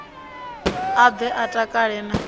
a ḓe a takale na